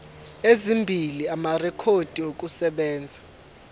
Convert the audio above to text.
ezimbili amarekhodi okusebenza